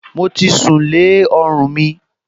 Mo ti sùn lé ọrùn mi